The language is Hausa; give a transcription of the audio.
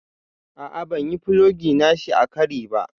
A'a ban yi fulogi nashi a kari ba.